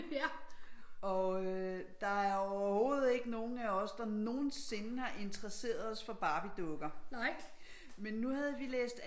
Og øh der er jo overhovedet ikke nogen af os der nogensinde har interesseret os for Barbiedukker men nu havde vi læst